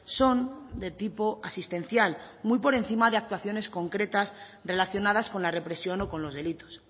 son de tipo asistencial muy por encima de actuaciones concretas relacionadas con la represión o con los delitos